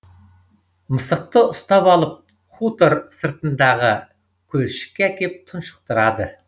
мысықты ұстап алып хутор сыртындағы көлшікке әкеп тұншықтырады